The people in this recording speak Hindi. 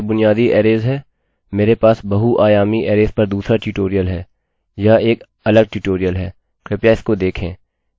ठीक है यह बुनियादी अरैजarraysहै मेरे पास बहुआयामी अरैजarrays पर दूसरा ट्यूटोरियल है